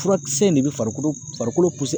Furakisɛ in de bɛ farikolo farikolo